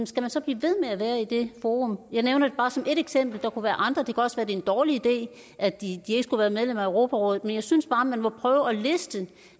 skal man så blive ved med at være i det forum jeg nævner det bare som et eksempel der kunne være andre det kan også er en dårlig idé at de ikke skulle være medlem af europarådet men jeg synes bare man må prøve at liste